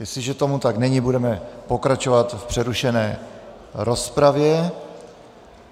Jestliže tomu tak není, budeme pokračovat v přerušené rozpravě.